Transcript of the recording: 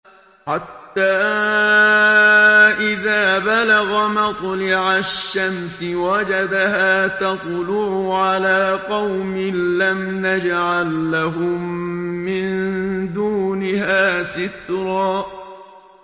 حَتَّىٰ إِذَا بَلَغَ مَطْلِعَ الشَّمْسِ وَجَدَهَا تَطْلُعُ عَلَىٰ قَوْمٍ لَّمْ نَجْعَل لَّهُم مِّن دُونِهَا سِتْرًا